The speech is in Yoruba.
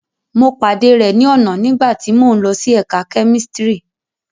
Mo pade rẹ ni ọna nigbati mo n lo si ẹka kemistri